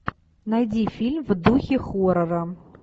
найди фильм в духе хоррора